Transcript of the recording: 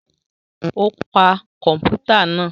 O pa kọmputa náà